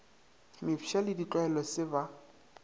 mefsa le ditlwaelo se ba